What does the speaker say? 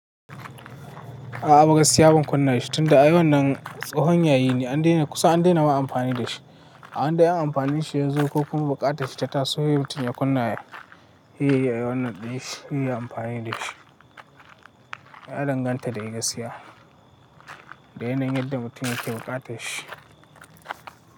A'a, ba gaskiya ba, ban kunna shi ba. Tunda ayi wannan tsahon yayi ne, an daina kusan an daina wa amfani da shi. Ai da an amfani shi, yan zun kokon buƙata shi ta taso. Mutum ya kunna sai yayi wannan ɗin shi, yayi amfani da shi. Ya danganta da gaskiya, da yanayin yadda mutumin yake buƙata shi.